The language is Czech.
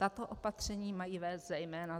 Tato opatření mají vést zejména